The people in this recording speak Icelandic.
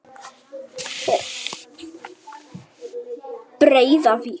Breiðavík